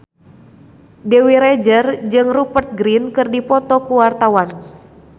Dewi Rezer jeung Rupert Grin keur dipoto ku wartawan